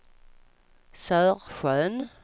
Sörsjön